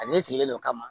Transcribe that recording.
Ale sigilen don ka ma